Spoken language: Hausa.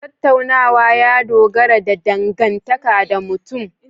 Tattaunawa ya dogara da dangantaka da mutum